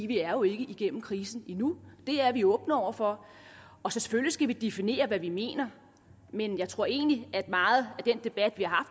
vi er jo ikke igennem krisen endnu det er vi åbne over for og selvfølgelig skal vi definere hvad vi mener men jeg tror egentlig at meget af den debat vi har